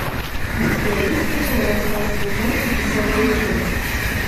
у тебя есть кино рассказ служанки десятая часть